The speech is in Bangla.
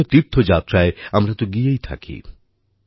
বিভিন্ন তীর্থযাত্রায় আমরা তো গিয়েই থাকি